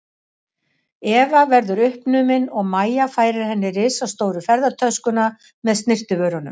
Eva verðu uppnumin og Mæja færir henni risastóru ferðatöskuna með snyrtivörunum.